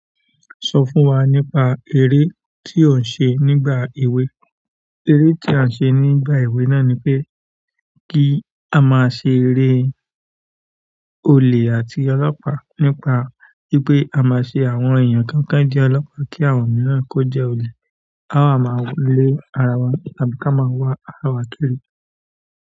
Sọ fún wa nípa eré tí o ń ṣe nígbà èwe. Eré tí a ń ṣe nígbà èwe náà ni pé kí a máa ṣe eré olè àti ọlọ́pàá. Nípa wípé a máa ṣe àwọn èèyàn kọ̀ọ̀kan jẹ́ ọlọ́pà kí àwọn mìíràn kó jẹ́ olè. A máa máa le ara wa tàbí ká máa wá ara wa kiri.